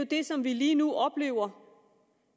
det som vi lige nu oplever